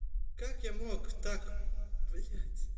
как я мог так блядь